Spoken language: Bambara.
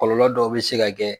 Kɔlɔlɔ dɔw bɛ se ka kɛ